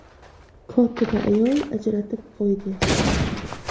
Kotiba ayol ajratib qo‘ydi.